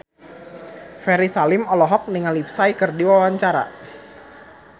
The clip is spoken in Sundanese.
Ferry Salim olohok ningali Psy keur diwawancara